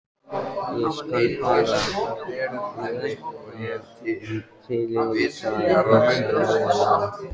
Ég skal bara þræta fyrir það, hugsaði Lóa Lóa.